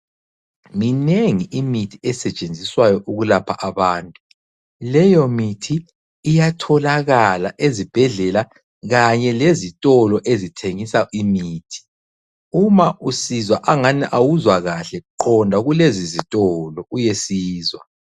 Minengi imithi esetshenziswayo ukulapha abantu. Leyo mithi iyatholakala ezibhedlela kanye lezitolo ezithengisa imithi, uma usizwa angani awuzwa kahle qonda kulezi zitolo uyesizwa.